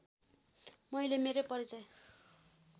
मैले मेरो परिचय